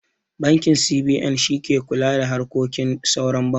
Bankin C.B.N shi ke kula da harkokin sauran bankuna